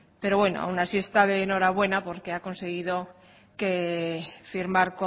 pero bueno aun así está de enhorabuena porque ha conseguido firmar